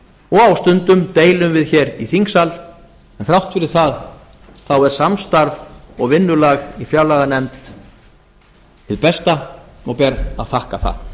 og á stundum deilum við hér í þingsal en þrátt fyrir það er samstarf og vinnulag í fjárlaganefnd hið besta og ber að þakka það